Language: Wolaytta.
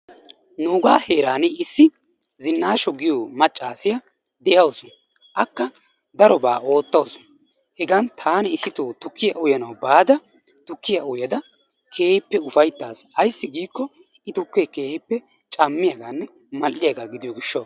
Nuugaa heerani issi Zinaasho giyo maccassiya de'awusu akka darobaa ootawusu, hegan taani issitoo tukkiya uyanawu bada tukkiya uyada keehippe ufaytaasi, ayssi giikko I tukee keehippe mal'iyaganne cammiyaga gidiyo gishshawu.